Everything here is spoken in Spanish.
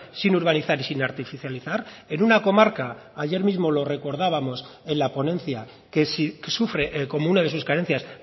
sin urbanizar y sin artificializar en una comarca ayer mismo lo recordábamos en la ponencia que si sufre como una de sus carencias